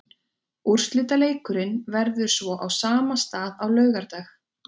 Úrslitaleikurinn verður svo á sama stað á laugardag.